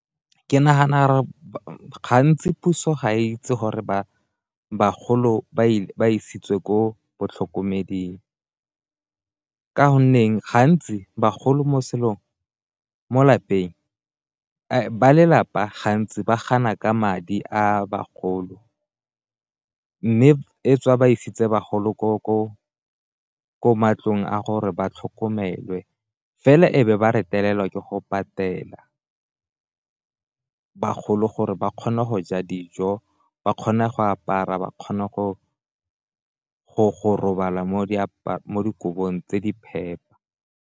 Ke nagana gore gantsi puso ga itse gore bagolo ba isitswe ko batlhokomeding, ka gonne ba lelapa gantsi ba gana ka madi a bagolo mme e tswa ba isitse bagolo ko matlong a gore ba tlhokomelwe. Fela e be ba retelelwa ke go patela bagolo gore ba kgone go ja dijo, ba kgona go apara, ba kgona go robala mo dikolong tse di phepa.